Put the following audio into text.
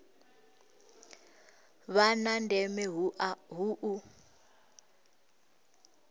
vha na ndeme hu u